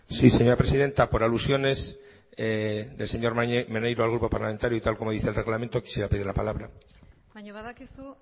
sí señora presidenta por alusiones del señor maneiro al grupo parlamentario y tal y como dice el reglamento quisiera pedir la palabra baina badakizu